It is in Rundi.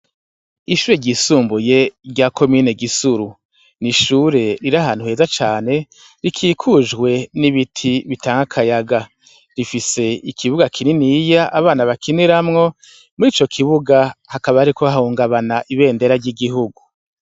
Ishure ryisumbuye rya komine gisuru ni ishure riri ahantu heza cane rikikujwe n'ibiti bitanga akayaga rifise ikibuga kininiya abana bakiniramwo muri ico kibuga hakaba, hariko hahungabana ibendera ry'igihugu.